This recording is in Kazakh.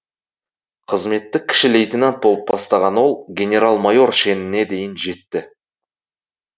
қызметті кіші лейтенат болып бастаған ол генерал майор шеніне дейін жетті